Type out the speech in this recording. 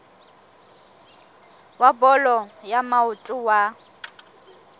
wa bolo ya maoto wa